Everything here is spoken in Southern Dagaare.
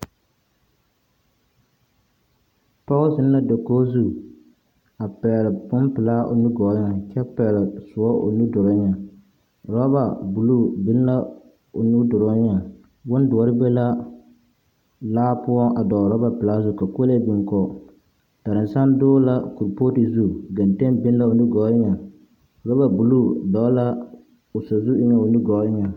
Pͻge zeŋ la dakogi zu a pԑgele bompelaa dakogi zu kyԑ pԑgele sõͻ o nudoreŋ, orͻba buluu biŋ la o nimitͻͻreŋ bondoͻre be la poͻ a dͻgele orͻba pelaa zu ka kolee biŋ kͻge. Dalansane dͻgele la kuripootu zu, genteŋ biŋ la o nimitͻͻreŋ, orͻba buluu dͻgele la o sazu eŋԑ o nu gͻͻ eŋԑŋ.